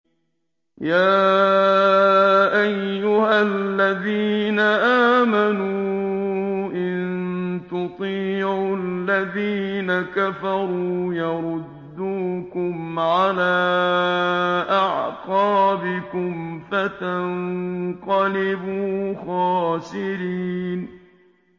يَا أَيُّهَا الَّذِينَ آمَنُوا إِن تُطِيعُوا الَّذِينَ كَفَرُوا يَرُدُّوكُمْ عَلَىٰ أَعْقَابِكُمْ فَتَنقَلِبُوا خَاسِرِينَ